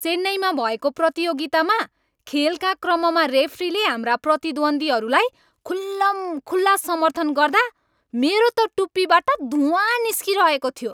चेन्नईमा भएको प्रतियोगितामा खेलका क्रममा रेफ्रीले हाम्रा प्रतिद्वन्दीहरूलाई खुल्लमखुल्ला समर्थन गर्दा मेरो त टुप्पीबाट धुवाँ निस्किरहेको थियो।